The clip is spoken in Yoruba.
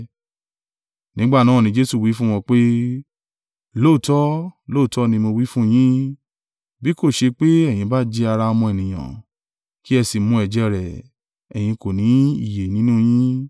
Nígbà náà ni Jesu wí fún wọn pé, “Lóòótọ́, lóòótọ́ ni mo wí fún yín, bí kò ṣe pé ẹ̀yin bá jẹ ara Ọmọ Ènìyàn, kí ẹ sì mu ẹ̀jẹ̀ rẹ̀, ẹ̀yin kò ní ìyè nínú yin.